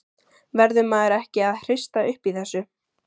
Verður maður ekki að hrista upp í þessu?